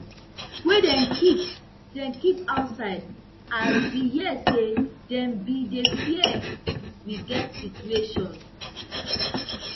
wey dem keep dem keep outside as we hear say dem bin dey fear we get situation